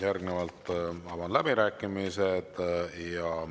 Avan läbirääkimised.